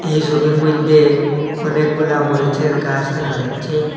এই সবির মইদ্যে অনেকগুলা মরিচের গাস দেখা যাচ্ছে।